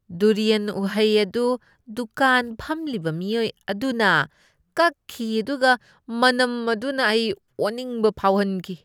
Durian ꯎꯍꯩ ꯑꯗꯨ ꯗꯨꯀꯥꯟ ꯐꯝꯂꯤꯕ ꯃꯤꯑꯣꯏ ꯑꯗꯨꯅ ꯀꯛꯈꯤ ꯑꯗꯨꯒ ꯃꯅꯝ ꯑꯗꯨꯅ ꯑꯩ ꯑꯣꯅꯤꯡꯕ ꯐꯥꯎꯍꯟꯈꯤ꯫